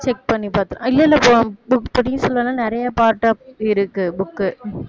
check பண்ணி பாத்து இல்ல இல்ல book பொன்னியின் செல்வன் வந்து நிறைய part இருக்கு book